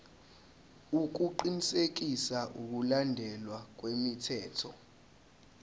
ukuqinisekisa ukulandelwa kwemithetho